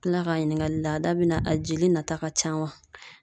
Kila k'a ɲininga laada bi na a jeli nata ka ca waɔ